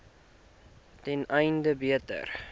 ten einde beter